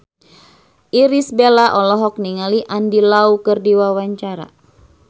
Irish Bella olohok ningali Andy Lau keur diwawancara